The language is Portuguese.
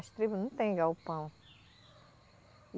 As tribos não têm galpão.